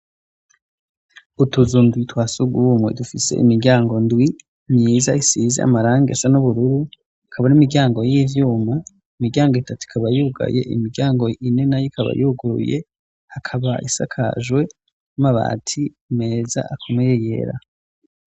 Utuzu ndwi twa sugumwe dufise imiryango ndwi myiza isize amarangi asa n'ubururu, ikaba ari imiryango y'ivyuma, imiryango itatu ikaba yugaye, imiryango ine nayo ikaba yuguruye, hakaba isakajwe n'amabati meza akomeye yera.